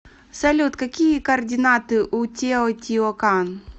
салют какие координаты у тео тио кан